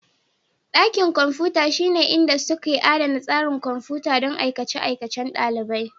Dakin kwamfuta shine inda suke adana tsarin kwamfuta don aikace-aikacen ɗalibai.